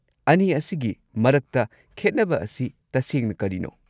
ꯑꯅꯤ ꯑꯁꯤꯒꯤ ꯃꯔꯛꯇ ꯈꯦꯠꯅꯕ ꯑꯁꯤ ꯇꯁꯦꯡꯅ ꯀꯔꯤꯅꯣ?